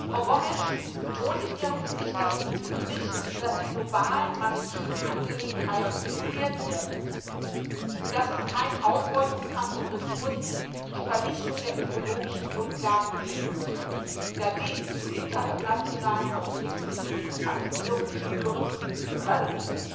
Frau Gomes betont in ihrem Bericht, dass die globalen maritimen Angelegenheiten reguliert werden müssten, damit es keinen Ausbeutungskampf um Ressourcen und die Vernichtung der ökologischen Grundlage gibt, da dies zu internationalen Konflikten und Militarisierung führen könnte.